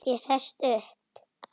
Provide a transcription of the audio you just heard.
Ég sest upp.